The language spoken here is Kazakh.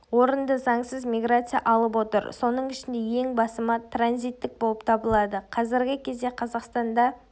орынды заңсыз миграция алып отыр соның ішінде ең басымы транзиттік болып табылады қазіргі кезде қазақстанда